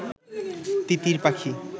তিতির পাখি